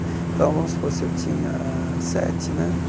Então, vamos supor, se eu tinha sete, né?